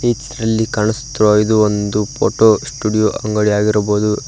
ಈ ಚಿತ್ರದಲ್ಲಿ ಕಾಣಿಸುತ್ತಿರುವ ಇದು ಒಂದು ಫೋಟೋ ಸ್ಟುಡಿಯೋ ಅಂಗಡಿಯಾಗಿರಬುಹುದು.